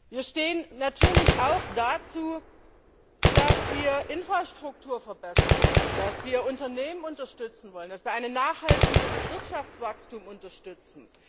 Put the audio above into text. Wir stehen natürlich auch dazu, dass wir Infrastruktur verbessern wollen, dass wir Unternehmen unterstützen wollen, dass wir ein nachhaltiges Wirtschaftswachstum unterstützen.